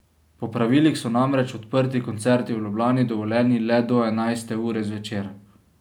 Po pravilih so namreč odprti koncerti v Ljubljani dovoljeni le do enajste ure zvečer.